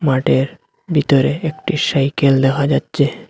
মাঠের ভিতরে একটি সাইকেল দেখা যাচ্ছে।